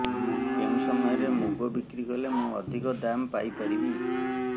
କେଉଁ ସମୟରେ ମୁଗ ବିକ୍ରି କଲେ ମୁଁ ଅଧିକ ଦାମ୍ ପାଇ ପାରିବି